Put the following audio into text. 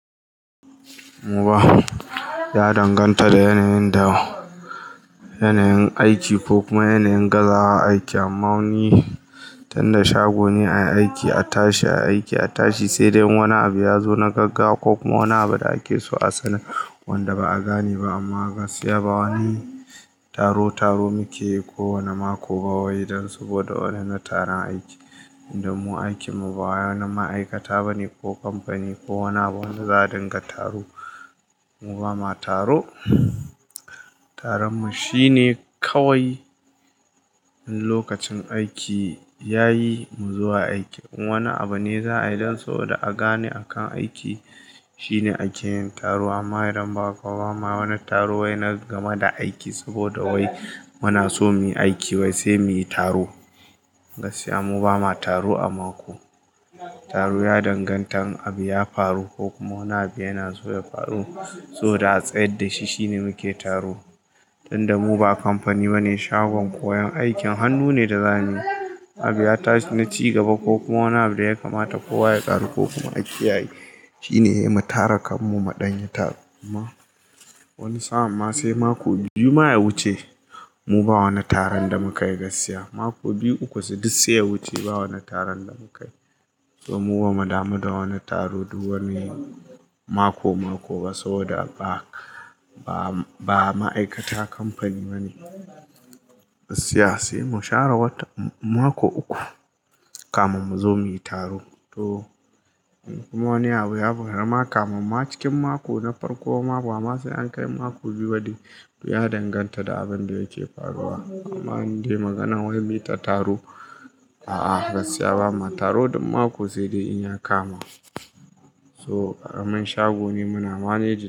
Muba, ya danganta da yanayin da, yanayin aiki ko kuma yanayin gaza a aiki amma wani, tunda shago ne a aiki, a tashi a aiki, a tashi sai dai in wani abu ya zo na gagawa ko kuma wani abu da ake so a sani wanda ba a gane ba amma gaskiya ba wani taro taro muke yi kowane mako ba wai dan saboda wannan taron aiki. Inda mu aikinmu ba wannan ma'aikata ba ne ko kamfani ko wani abu wanda za a dinga taro. Mu ba ma taro. Tarar mu shine kawai lokacin aiki ya yi mu zo aiki. In wani abu ne za a yi dan saboda a gane akan aiki shine a ke yin taro amma idan ba kawai ma wani taro wai na game da aiki saboda wai muna so muyi aiki wai sai muyi taro. Gaskiya mu ba ma taro a mako. Taro ya dangantan abu ya faru ko kuma wani abu yana so ya faru so da a tsaya da shi shine muke taro. Tunda mu ba kamfani ba ne, shagon koyon aikin hannu ne da zane. Abu ya tashi na ci gaba ko kuma wani abu da ya kamata kowa ye karu ko kuma a kiyaye shine ya yi mu tara kan mu muɗan yi taro. Amma wani sa'amma sai mako biyu ma ya wuce mu ba wani taron da muka yi gaskiya. Mako biyu uku sai duk sai ya wuce ba wani taron da muka yi. To mu ba mu damu da wani taro duk wani mako mako ba saboda ba, ba, ba ma'aikata kamfani ba ne. Gaskiya sai mu share wata, mako uku kamun mu zo muyi taro. To in kuma wani abu ya faru ma kamun ma cikin mako na farko ma bama sai an kai mako biyu ba ɗai, to ya danganta da abin da yake faruwa. Amma in dai magana wai muyi ta taro, a'a gaskiya ba ma taro duk mako sai dai in ya kama. So, karamin shago ne muna managi.